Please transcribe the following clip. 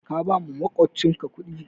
Ka bawa makwabcinka kudi